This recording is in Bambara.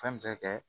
Fɛn bɛ se ka kɛ